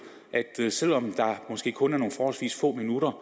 at selv om det måske kun er nogle forholdsvis få minutter